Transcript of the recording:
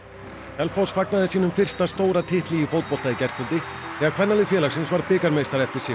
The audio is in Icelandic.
Selfoss fagnaði sínum fyrsta stóra titli í fótbolta í gærkvöldi þegar kvennalið félagsins varð bikarmeistari eftir sigur